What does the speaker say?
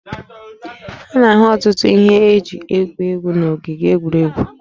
A na-ahụ ọtụtụ ihe eji egwu egwu n'ogige egwuregwu